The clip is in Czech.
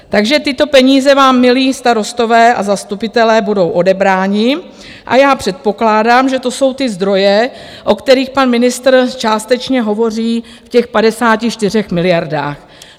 Takže tyto peníze vám, milí starostové a zastupitelé, budou odebrány a já předpokládám, že to jsou ty zdroje, o kterých pan ministr částečně hovoří v těch 54 miliardách.